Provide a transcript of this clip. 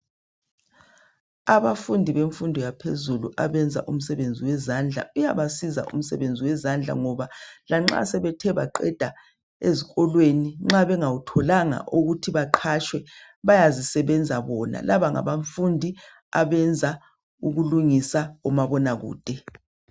Abafundi bemfundo yaphezulu abenza imisebenzi wezandla uyabasiza umsebenzi wezandla ngoba lanxa sebethe baqeda ezikolweni nxa bengatholanga ukuthi baqhatshwe bayazisebenza bona. Laba ngabafundi abasenza ukulungisa umabonakude.